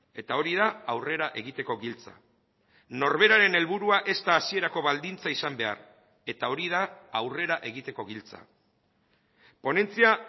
eta hori da aurrera egiteko giltza norberaren helburua ez da hasierako baldintza izan behar eta hori da aurrera egiteko giltza ponentzia